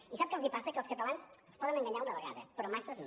i sap que els passa que als catalans els poden enganyar una vegada però masses no